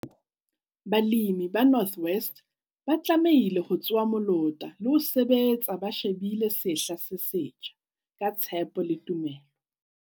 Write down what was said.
Balemi ba North West ba tlamehile ho tsoha molota le ho sebetsa ba shebile sehla se setjha - ka tshepo le tumelo.